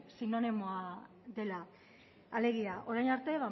sinonimoa dela alegia orain arte